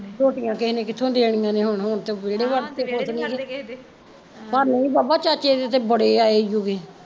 ਰੋਟੀਆਂ ਕਿਸੇ ਨੇ ਕਿਥੋਂ ਦੇਣੀਆ ਹੁਣ ਤੇ ਵੇਹੜੇ ਵੜ ਕੇ ਖੁਸ਼ ਨੀਗੇ ਸਾਨੂੰ ਨੀ ਪਤਾ ਚਾਚੇ ਕੇ ਤਾਂ ਬੜੇ ਆਏ ਈ ਓ ਤੇ